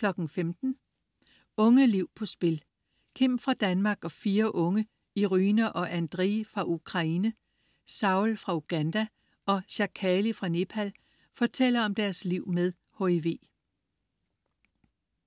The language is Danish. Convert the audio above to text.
15.00 Unge liv på spil. Kim fra Danmark og fire unge, Iryna og Andrij fra Ukranie, Saul fra Uganda og Chakkali fra Nepal, fortæller om deres liv med HIV